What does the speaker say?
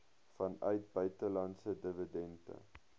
vanuit buitelandse dividende